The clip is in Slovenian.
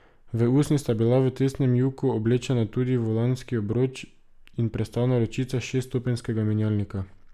V usnje sta bila v testnem juku oblečena tudi volanski obroč in prestavna ročica šeststopenjskega menjalnika.